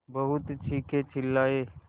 बहुत चीखेचिल्लाये